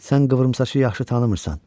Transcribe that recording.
Sən qıvrımsaçı yaxşı tanımırsan.